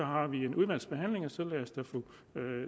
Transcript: har vi en udvalgsbehandling og så lad os da få